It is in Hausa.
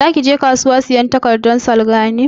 Za ki je kasuwa sayan takardan salga ne?